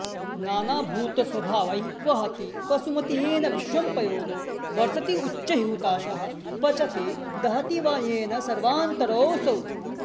नानाभूतस्वभावैर्वहति वसुमती येन विश्वं पयोदो वर्षत्युच्चैर्हुताशः पचति दहति वा येन सर्वान्तरोऽसौ